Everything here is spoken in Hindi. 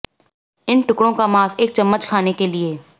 इन टुकड़ों का मांस एक चम्मच खाने के लिए